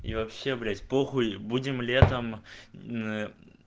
и вообще блять похуй будем летом